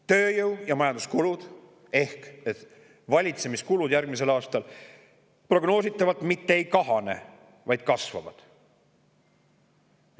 Tööjõu- ja majandamiskulud ehk valitsemiskulud järgmisel aastal prognoositavalt mitte ei kahane, vaid kasvavad.